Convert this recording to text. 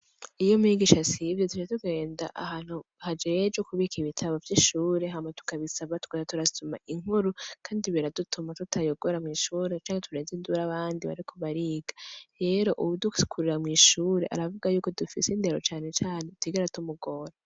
Iyo mwigisha sivyo tivya tugenda ahantu hajeje ukubika ibitabo vy'ishure hamba tukabisaba twra turasuma inkuru, kandi biradutuma tutayogora mw'ishure canke tureze indura abandi barikubariga yero uwudukikurura mw'ishure aravuga yuko dufise indero canecane tigara tumugora.